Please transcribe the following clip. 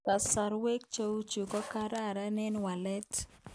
Kasarwek cheuchu ko kararan eng waleet